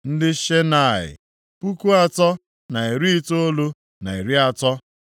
ndị Senaa, puku atọ, na narị itoolu na iri atọ (3,930).